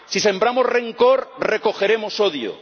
Si sembramos rencor, recogeremos odio.